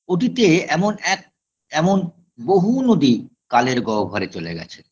অতীতে এমন এক এমন বহু নদী কালের গহ্বরে চলে গেছে